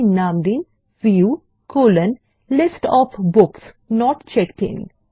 view এর নাম দিন View list of books not checked in